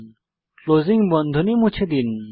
এখানে ক্লোসিং বন্ধনী মুছে দিন